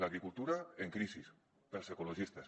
l’agricultura en crisi pels ecologistes